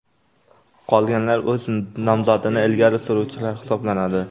Qolganlar o‘z nomzodini ilgari suruvchilar hisoblanadi.